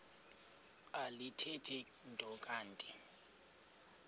alithethi nto kanti